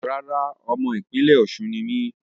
Rárá, ọmọ ìpínlẹ́ Osun ni mí